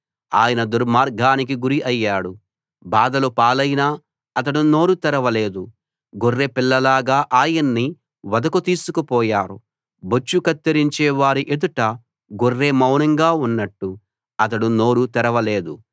ఆయన దుర్మార్గానికి గురి అయ్యాడు బాధల పాలైనా అతడు నోరు తెరవలేదు గొర్రెపిల్లలాగా ఆయన్ని వధకు తీసుకుపోయారు బొచ్చు కత్తిరించే వారి ఎదుట గొర్రె మౌనంగా ఉన్నట్టు అతడు నోరు తెరవలేదు